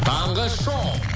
таңғы шоу